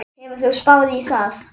Hefur þú spáð í það?